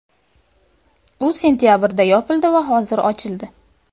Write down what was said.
U sentabrda yopildi va hozir ochildi.